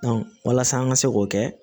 walasa an ka se k'o kɛ